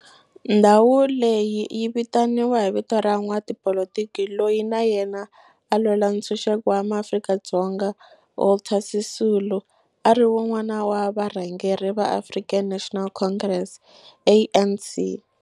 Ndhawu leyi yi vitaniwa hi vito ra n'watipolitiki loyi na yena a lwela ntshuxeko wa maAfrika-Dzonga Walter Sisulu, a ri wun'wana wa varhangeri va African National Congress, ANC.